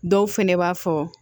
Dɔw fɛnɛ b'a fɔ